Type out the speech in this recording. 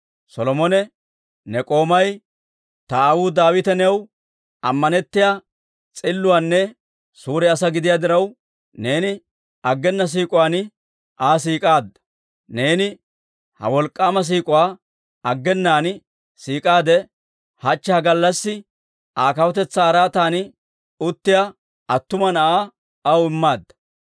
Solomone, «Ne k'oomay ta aawuu Daawite new ammanettiyaa s'illuwaanne suure asaa gidiyaa diraw, neeni aggena siik'uwaan Aa siik'aade. Neeni ha wolk'k'aama siik'uwaa aggenaan siik'aadde, hachche ha gallassi Aa kawutetsaa araatan uttiyaa attuma na'aa aw immaadda.